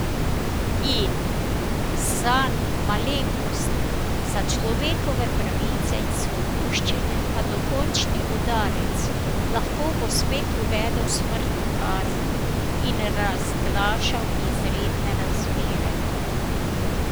In, zanj malenkost, za človekove pravice in svoboščine pa dokončni udarec, lahko bo spet uvedel smrtno kazen in razglašal izredne razmere.